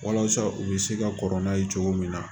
Walasa u bɛ se ka kɔrɔ n'a ye cogo min na